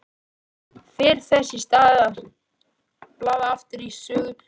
Fer þess í stað að blaða aftur í sögu Júlíu.